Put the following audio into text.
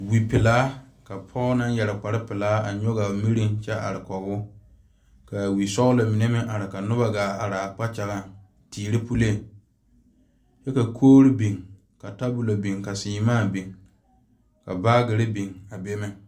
Wipelaa ka pɔge naŋ yeere kpare pelaa are ka wiresɔglɔ mine meŋ are kɔŋ o kaa wisɔglɔ mine meŋ a are ka noba gaa are a kpakyɛga teere puli kyɛ ka kogre biŋ ka saama biŋ ka baagre biŋ a be meŋ.